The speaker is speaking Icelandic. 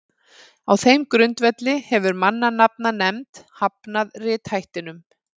á þeim grundvelli hefur mannanafnanefnd hafnað rithættinum